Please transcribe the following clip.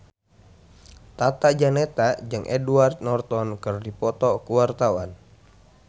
Tata Janeta jeung Edward Norton keur dipoto ku wartawan